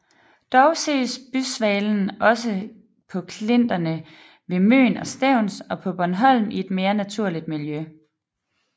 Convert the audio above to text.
Dog ses bysvalen også på klinterne ved Møn og Stevns og på Bornholm i et mere naturligt miljø